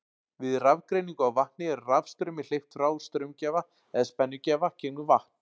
Við rafgreiningu á vatni er rafstraumi hleypt frá straumgjafa eða spennugjafa gegnum vatn.